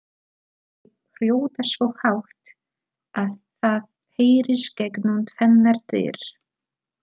Þau hrjóta svo hátt að það heyrist gegnum tvennar dyr!